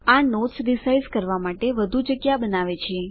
આ notes resize કરવા માટે વધુ જગ્યા બનાવે છે